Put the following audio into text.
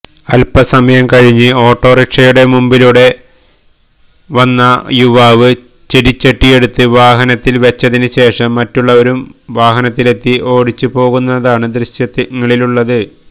അൽപ്പസമയം കഴിഞ്ഞ് ഓട്ടോറിക്ഷയുടെ മുമ്പിലൂടെ വന്ന യുവാവ് ചെടിച്ചട്ടിയെടുത്ത് വാഹനത്തിൽ വെച്ചതിന് ശേഷം മറ്റുള്ളവരും വാഹനത്തിലെത്തി ഓടിച്ചു പോകുന്നതാണ് ദൃശ്യങ്ങളിലുള്ളത്